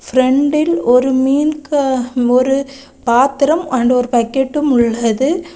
பிரண்டில் ஒரு மீன்க ஒரு பாத்திரம் ஆண்டு ஒரு பக்கெட்டும் உள்ளது.